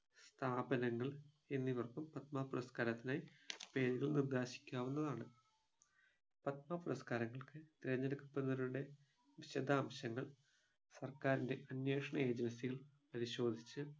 സ്ഥാപനങ്ങൾ എന്നിവർക്കും പത്മ പുരസ്‌കാരത്തിനായി പേരുകൾ നിർദേശിക്കാവുന്നതാണ് പത്മ പുരസ്‌കാരങ്ങൾക്ക് തെരഞ്ഞെടുക്കപ്പെടുന്നവരുടെ വിശദാംശങ്ങൾ സർക്കാരിൻ്റെ അന്വേഷണ agency കൾ പരിശോധിച്ച്